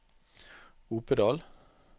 Opedal